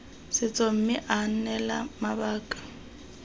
setso mme aa neela mabaka